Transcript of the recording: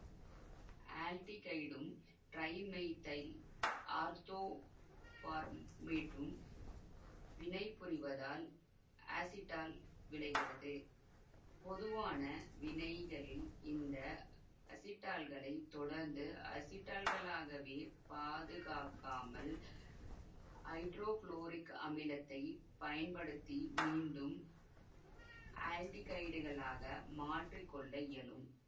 ஆல்டிகைடும் trimethyl ஆர்த்தோபார்மேட்டும் வினைபுரிவதால் acetal விளைகிறது பொதுவான வினைகளில் இந்த அசிட்டால்களை தொடர்ந்து அசிட்டால்களாகவே பாதுகாக்காமல் ஐதரோகுளோரிக் அமிலத்தைப் பயன்படுத்தி மீண்டும் ஆல்டிகைடுகளாக மாற்றி கொள்ள இயலும்